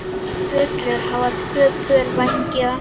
Bjöllur hafa tvö pör vængja.